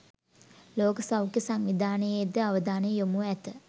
ලෝක සෞඛ්‍ය සංවිධානයේ ද අවධානය යොමුව ඇත